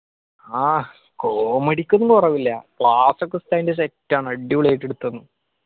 ആഹ്. comedy ക്കൊന്നും കൊറവില്ല class ഒക്കെ ഉസ്താദിന്റെ set ആണ്. അടിപൊളിയായിട്ട് എടുത്തന്ന്